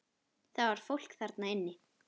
Það var fólk þarna inni!